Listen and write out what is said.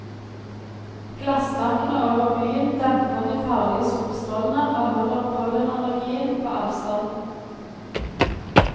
Glasstakene over byen demper de farlige solstrålene og holder pollenallergien på avstand.